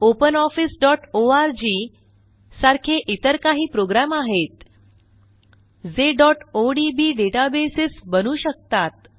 OpenOffice.org सारखे इतर काही प्रोग्रॅम आहेत जे odb डेटाबेस बनवू शकतात